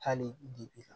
Hali bi bi